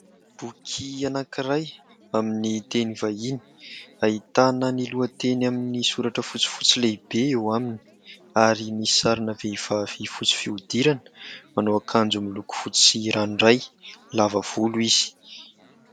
Boky anankiray aminy teny vahiny ahitana ny lohateny amin'ny soratra fotsifotsy lehibe eo aminy ary misy sarina vehivavy fotsy fihodirana manao akanjo miloko fotsy ranoray, lava volo izy.